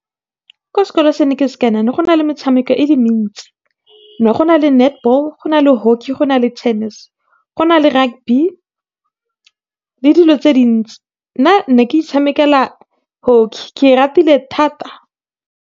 Ko sekolong se ne ke se , go ne go na le metshameko e le mentsi. Ne go na le netball, go na le hockey, go na le tennis, go na le rugby, le dilo tse dintsi. Nna ne ke itshamekela hockey, ke ratile thata.